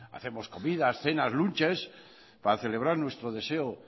hacemos comidas cenas lunches para celebrar nuestro deseo